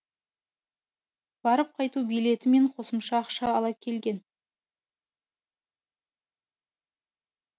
барып қайту билеті мен қосымша ақша ала келген